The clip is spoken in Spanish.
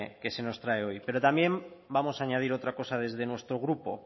que se nos trae hoy pero también vamos a añadir otra cosa desde nuestro grupo